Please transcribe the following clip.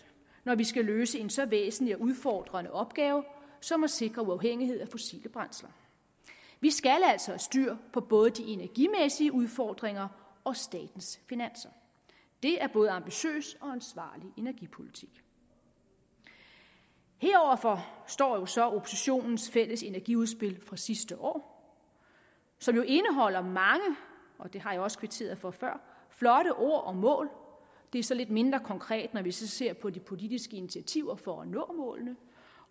når vi skal løse en så væsentlig og udfordrende opgave som at sikre uafhængighed af fossile brændsler vi skal altså have styr på både de energimæssige udfordringer og statens finanser det er både ambitiøs og ansvarlig energipolitik heroverfor står så oppositionens fælles energiudspil fra sidste år som jo indeholder mange og det har jeg også kvitteret for før flotte ord og mål det er så lidt mindre konkret når vi ser på de politiske initiativer for at nå målene